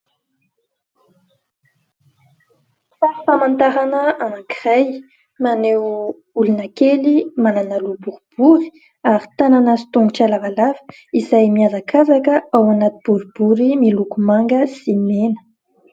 Sary famantarana anankiray maneho olona kely manana loha boribory ary tanana sy tongotra lavalava izay miazakazaka ao anaty boribory miloko manga sy mena.